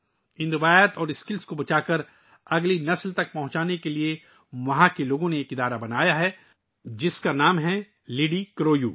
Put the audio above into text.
ان روایات اور ہنر کو بچانے اور اگلی نسلوں تک پہنچانے کے لئے وہاں کے لوگوں نے ایک تنظیم بنائی ہے، جس کا نام ' لِڈی کرو یو ' ہے